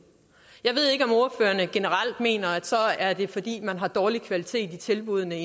jeg generelt mener at så er det fordi man har en dårlig kvalitet i tilbuddene i